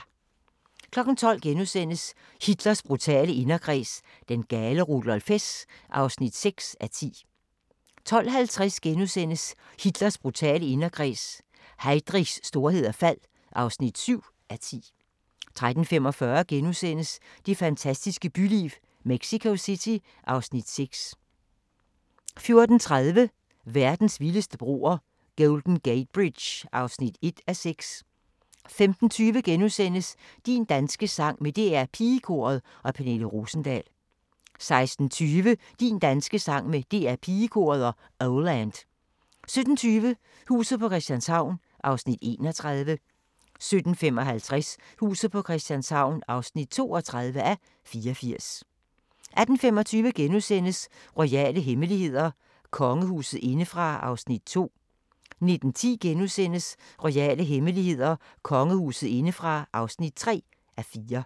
12:00: Hitlers brutale inderkreds – den gale Rudolf Hess (6:10)* 12:50: Hitlers brutale inderkreds – Heydrichs storhed og fald (7:10)* 13:45: Det fantastiske byliv - Mexico City (Afs. 6)* 14:30: Verdens vildeste broer – Golden Gate Bridge (1:6) 15:20: Din danske sang med DR PigeKoret og Pernille Rosendahl * 16:20: Din danske sang med DR Pigekoret og Oh Land 17:20: Huset på Christianshavn (31:84) 17:55: Huset på Christianshavn (32:84) 18:25: Royale hemmeligheder: Kongehuset indefra (2:4)* 19:10: Royale hemmeligheder: Kongehuset indefra (3:4)*